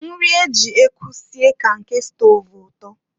Nri e ji ekwu si ka nke stọv ụtọ.